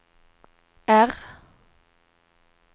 R